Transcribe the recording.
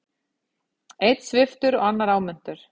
Einn sviptur og annar áminntur